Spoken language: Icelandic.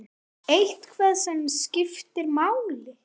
Eitthvað sem skiptir máli?